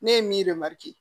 Ne ye min